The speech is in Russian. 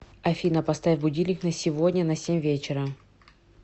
афина поставь будильник на сегодня на семь вечера